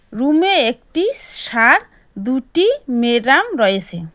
রুমে একটি সার দুটি মেডাম রয়েসে।